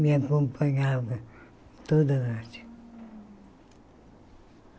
Me acompanhava toda noite.